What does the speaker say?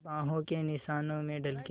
बाहों के निशानों में ढल के